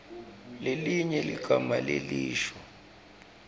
lelinye ligama lelisho